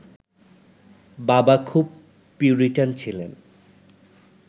বাবা খুব পিউরিটান ছিলেন